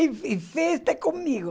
E fe festa é comigo.